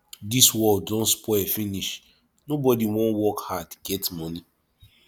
dis world don spoil finish nobody wan work hard get money